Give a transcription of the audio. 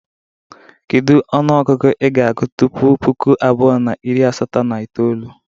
Kedu onuogugu ị ga-agụ tupu puku abuo na iri asato na itoolu?